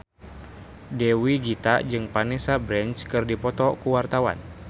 Dewi Gita jeung Vanessa Branch keur dipoto ku wartawan